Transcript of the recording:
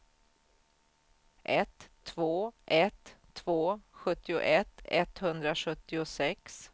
ett två ett två sjuttioett etthundrasjuttiosex